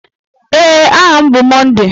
Ee, aha m bụ Monday.